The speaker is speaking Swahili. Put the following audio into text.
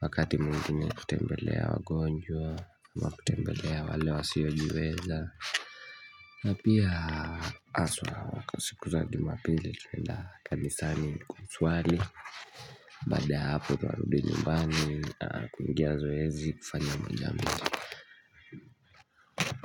wakati mwngine kutembelea wagonjwa ama kutembelea wale wasiyo jiweza Pia haswa waka siku za jumapili tunaenda kanisani kusuali baada ya hapo tunarudi nyumbani kuigia zoezi kufanya moja mbili.